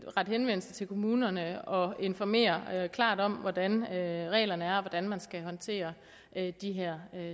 rette henvendelse til kommunerne og informere klart om hvordan reglerne er og hvordan man skal håndtere de her